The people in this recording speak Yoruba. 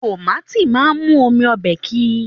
Tomaati máa n mú omi ọbẹ kí.